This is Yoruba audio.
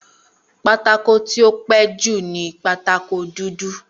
Pátákó tí ó pẹ́ẹ́ jù ni pátákó dúdú